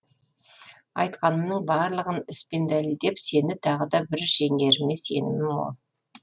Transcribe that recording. айтқанымның барлығын іс пен дәлелдеп сені тағы да бір жеңеріме сенімім мол